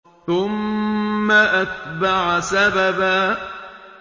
ثُمَّ أَتْبَعَ سَبَبًا